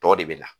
Tɔ de bɛ na